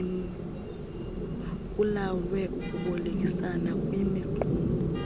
kulawulwe ukubolekisana kwimiqulu